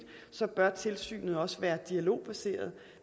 bør tilsynet også være dialogbaseret